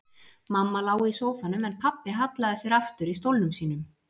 Mamma lá í sófanum en pabbi hallaði sér aftur í stólnum sínum.